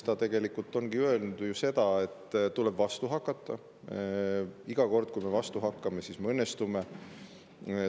Ta tegelikult ongi öelnud seda, et tuleb vastu hakata, iga kord, kui me vastu hakkame, siis me õnnestume.